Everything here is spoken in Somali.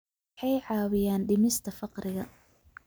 Waxay caawiyaan dhimista faqriga.